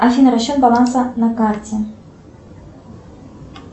афина расчет баланса на карте